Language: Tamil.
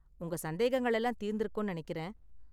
உங்க சந்தேகங்கள் எல்லாம் தீர்ந்துருக்கும்னு நெனைக்கிறேன்.